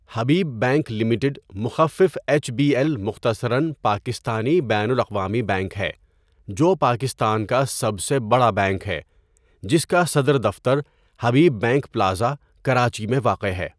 حبیب bank limited مخفف H B L مختصراً پاکستانی بین الاقوامی بینک ہے جو پاکستان کا سب سے بڑا بینک ہے جس کا صدر دفتر حبیب بینک پلازہ، کراچی میں واقع ہے.